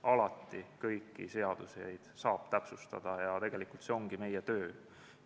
Alati saab kõiki seadusi täpsustada ja tegelikult see ongi meie töö.